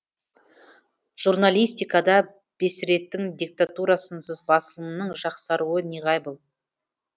журналистикада бесредтің диктатурасынсыз басылымның жақсаруы неғайбыл